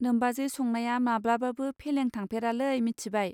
नोमबाजै संनाया माब्लाबाबो फेलें थांफेरालै मिथिबाय.